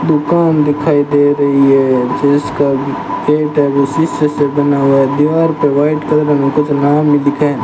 दुकान दिखाई दे रही है जिसका शीशे से बना हुआ है दीवार पे वाइट कलर में कुछ नाम भी लिखा है।